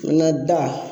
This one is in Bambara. N ka da